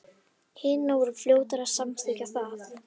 Hinar voru fljótar að samþykkja það.